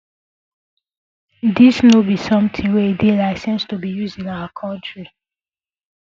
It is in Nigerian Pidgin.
dis no be something wey dey licensed to be used in our country